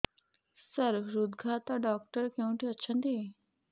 ସାର ହୃଦଘାତ ଡକ୍ଟର କେଉଁଠି ଅଛନ୍ତି